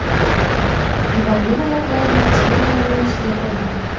Divanning oyoqlarini kichkina gilamning ustiga qo‘ymang.